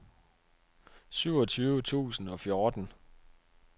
syvogtyve tusind og fjorten